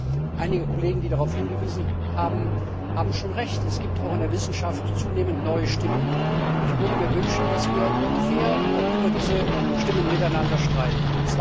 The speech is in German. Aber einige Kollegen, die darauf hingewiesen haben, haben schon Recht Es gibt auch in der Wissenschaft zunehmend neue Stimmen, und ich würde mir wünschen, dass wir auch über diese Stimmen fair miteinander streiten.